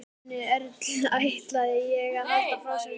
Nonni Erlu ætlaði að halda frásögninni áfram.